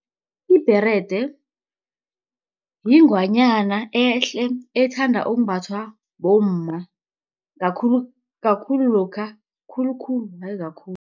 Ibherede yingwanyana ehle ethandwa ukumbathwa bomma kakhulu, kakhulu lokha khulukhulu hayi kakhulu.